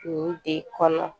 U de kɔnɔ